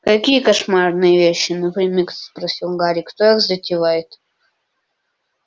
какие кошмарные вещи напрямик спросил гарри кто их затевает